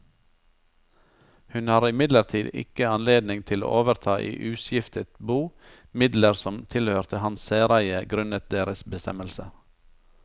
Hun har imidlertid ikke anledning til å overta i uskiftet bo midler som tilhørte hans særeie grunnet deres bestemmelser.